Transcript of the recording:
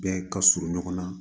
Bɛɛ ka surun ɲɔgɔn na